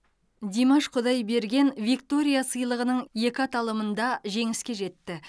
димаш құдайберген виктория сыйлығының екі аталымында жеңіске жетті